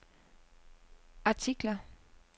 artikler